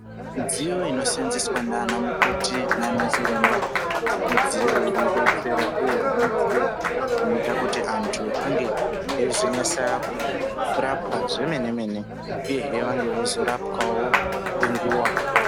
Midziyo inoseenzeswa ndiana mukoti nanachiremba midziyo inodetsera uyezve midziyo inoita kuti anthu ange eizonasa kurapwa zvemene mene uyehe vange veizorapwawo ngenguwa.